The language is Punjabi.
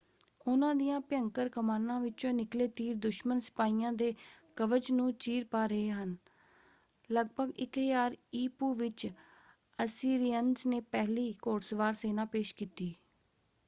ਉਹਨਾਂ ਦੀਆਂ ਭਿਅੰਕਰ ਕਮਾਨਾਂ ਵਿੱਚੋਂ ਨਿਕਲੇ ਤੀਰ ਦੁਸ਼ਮਨ ਸਿਪਾਹੀਆਂ ਦੇ ਕਵਚ ਨੂੰ ਚੀਰ ਪਾ ਰਹੇ ਸਨ। ਲਗਭਗ 1000 ਈ.ਪੂ. ਵਿੱਚ ਅਸੀਰਿਅਨਜ਼ ਨੇ ਪਹਿਲੀ ਘੋੜਸਵਾਰ ਸੈਨਾ ਪੇਸ਼ ਕੀਤੀ।